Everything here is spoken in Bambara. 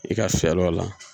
I ka sal'o la